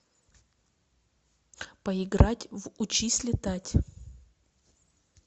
поиграть в учись летать